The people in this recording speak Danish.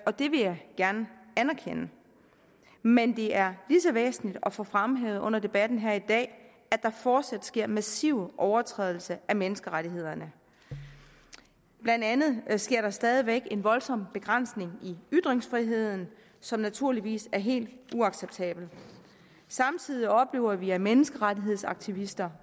og det vil jeg gerne anerkende men det er lige så væsentligt at få fremhævet under debatten her i dag at der fortsat sker massive overtrædelser af menneskerettighederne blandt andet sker der stadig væk en voldsom begrænsning i ytringsfriheden som naturligvis er helt uacceptabelt samtidig oplever vi at menneskerettighedsaktivister